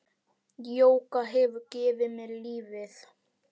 Jógað hefur gefið mér lífið.